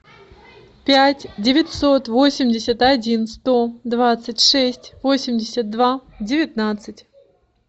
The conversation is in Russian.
пять девятьсот восемьдесят один сто двадцать шесть восемьдесят два девятнадцать